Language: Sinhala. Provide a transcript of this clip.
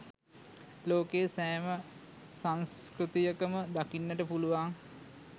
ලෝකයේ සෑම සන්ස්කෘතියකම දකින්නට පුලුවන්